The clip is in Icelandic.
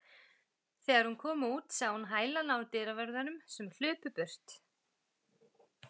Þegar hún kom út sá hún í hælana á dyravörðunum sem hlupu burt.